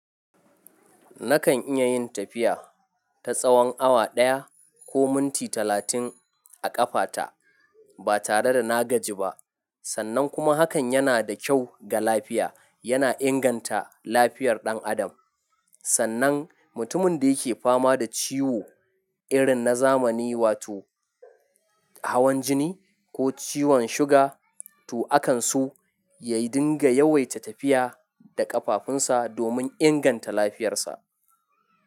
Nakan iya yin tafiya ta tsawon awa ɗaya ko minti talatin a ƙafata ba tare da na gaji ba. Sannan kuma hakan yana da kyau ga lafiya. Yana inganta lafiyar ɗan adam. Sannan mutumin da yake fama da ciwo irin na zamani wato hawan jini ko ciwon suga to akansu ya dinga yawaita tafiya da ƙafafunsa domin inganta lafiyarsa.